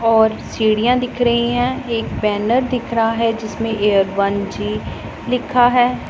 और सीढ़ियां दिख रही है एक बैनर दिख रहा है जिसमें ये वन जी लिखा है।